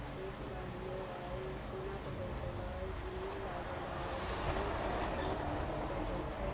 केश बांधले हई कोना पर बइठल हई | ग्रील लागल हई गेट हई सब बइठल --